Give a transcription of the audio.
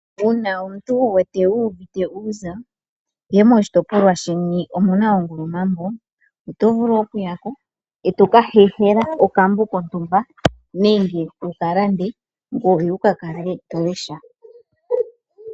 Uuna omuntu wu wete wu uvite uuza ihe moshitopolwa sheni omuna ongulumambo oto vulu oku yako etoka hehela okambo kontumba nenge wuka lande ngoye wuka kale to lesha.